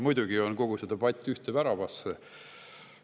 Muidugi käib kogu see debatt ühte väravasse.